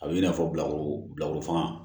A bɛ i n'a fɔ bilakoro bilakorofan